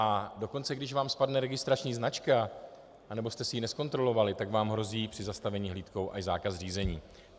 A dokonce když vám spadne registrační značka nebo jste si ji nezkontrolovali, tak vám hrozí při zastavení hlídkou až zákaz řízení.